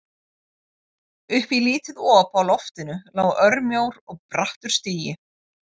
Upp í lítið op á loftinu lá örmjór og brattur stigi.